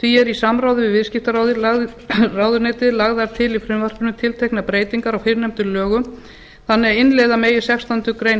því eru í samráði við viðskiptaráðuneytið lagðar til í frumvarpinu tilteknar breytingar á fyrrnefndum lögum þannig að innleiða megi sextándu grein